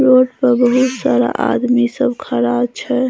Road प बहुत सारा आदमी सब खड़ा छय।